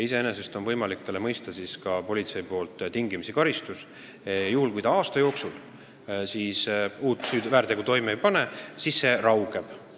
Iseenesest võib politsei talle selle eest mõista tingimisi karistuse ja kui ta aasta jooksul uut väärtegu toime ei pane, siis see raugeb.